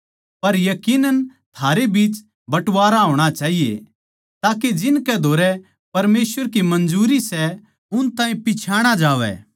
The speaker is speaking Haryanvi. पर यकीनन थारे बीच बटवारा होणा चाहिए ताके जिनकै धोरै परमेसवर की मंजूरी सै उन ताहीं पिच्छाणा जावै